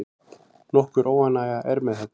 Nokkur óánægja er með þetta.